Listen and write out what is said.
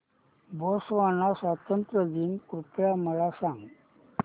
Botswana स्वातंत्र्य दिन कृपया मला सांगा